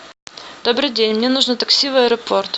добрый день мне нужно такси в аэропорт